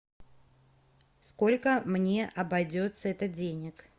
сколько мне обойдется это денег